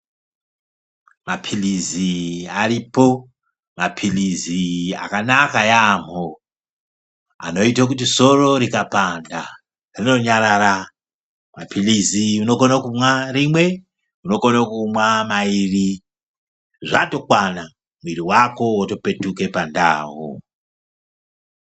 Maphilizi aripo. Maphilizi akanaka yaamho ,anoite kuti soro rikapanda, rinonyarara. Maphilizi unokone kumwa rimwe, unokone kumwa mairi, zvatokwana, mwiiri wako wotopetuke pandau.